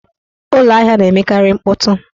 Ụlọahịa na-emekarị mkpọtụ.